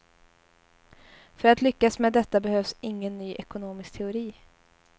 För att lyckas med detta behövs ingen ny ekonomisk teori.